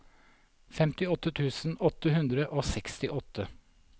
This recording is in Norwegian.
femtiåtte tusen åtte hundre og sekstiåtte